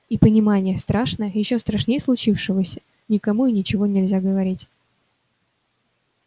и понимание страшное ещё страшнее случившегося никому и ничего нельзя говорить